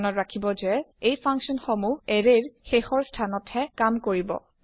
মনত ৰাখিব যে এই ফাংচন সমুহ এৰে ৰ শেষৰ স্থান ত হে কাম কৰিব